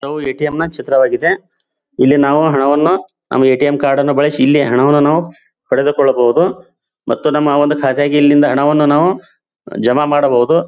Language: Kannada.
ಇವು ಎ.ಟಿ.ಎಮ್ ನ ಚಿತ್ರವಾಗಿದೆ ಇಲ್ಲಿ ನಾವು ಹಣವನ್ನು ನಮ್ಮ ಎ.ಟಿ.ಎಮ್ ಕಾರ್ಡ್ ಬಳಸಿ ಇಲ್ಲೇ ಹಣವನ್ನು ನಾವು ಪಡೆದುಕೊಳ್ಳಬಹುದು ಮತ್ತು ನಮ್ಮ ಒಂದು ಕಾತೆಗೆ ಇಲ್ಲಿಂದ ಹಣವನ್ನು ನಾವು ಜಮಾ ಮಾಡಬಹುದು.